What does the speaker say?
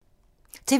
TV 2